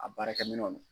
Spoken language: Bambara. A baarakɛminɛnw